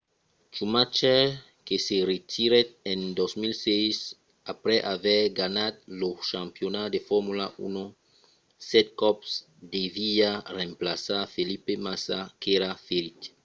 schumacher que se retirèt en 2006 aprèp aver ganhat lo campionat de formula 1 sèt còps deviá remplaçar felipe massa qu'èra ferit